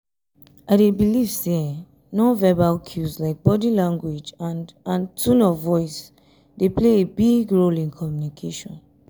i dey believe say non-verbal cues like body language and and tone of voice dey play a big role in communication.